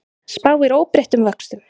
Spáir óbreyttum vöxtum